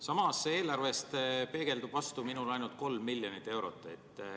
Samas, eelarvest peegeldub minule vastu ainult 3 miljonit eurot.